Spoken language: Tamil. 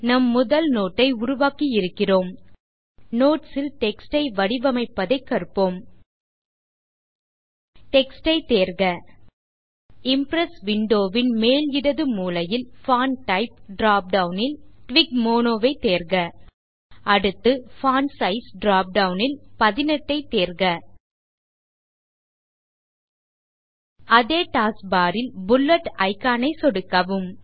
நம் முதல் நோட் ஐ உருவாக்கியிருக்கிறோம் நோட்ஸ் ல் டெக்ஸ்ட் ஐ வடிவமைப்பதைக் கற்போம் டெக்ஸ்ட் ஐ தேர்க இம்ப்ரெஸ் விண்டோ ன் மேல் இடது மூலையில் பான்ட் டைப் drop டவுன் ல் டிஎல்டுடிமோனோ ஐ தேர்க அடுத்து பான்ட் சைஸ் drop டவுன் ல் 18 ஐ தேர்க அதே டாஸ்க் barல் புல்லெட் இக்கான் ஐ சொடுக்கவும்